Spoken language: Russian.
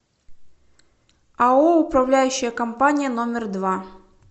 ао управляющая компания номер два